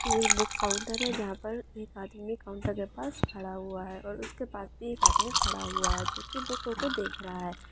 एक book counter है जहां पर एक आदमी काउंटर के पास खड़ा हुआ है और उसके पास भी एक आदमी खड़ा हुआ है जो कि कुछ देख रहा है|